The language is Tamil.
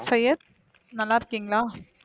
சையத் நல்ல இருக்கீங்களா